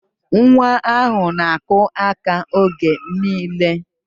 Nwa ahụ na-akụ aka oge niile